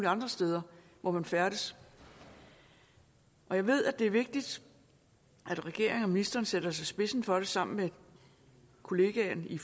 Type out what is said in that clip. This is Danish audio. andre steder hvor man færdes og jeg ved at det er vigtigt at regeringen og ministeren sætter sig i spidsen for det sammen med kollegaen i